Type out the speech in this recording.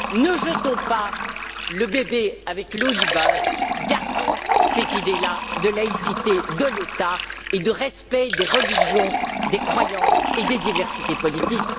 Ne jetons pas le bébé avec l'eau du bain, gardons cette idée là de laïcité de l'État et de respect des religions, des croyances et des diversités politiques.